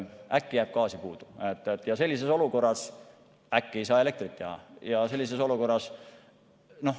Äkki jääb gaasi puudu ja sellises olukorras äkki ei saa elektrit toota?